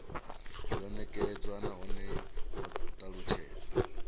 yo nekedzwa nahone ho talutshedzwa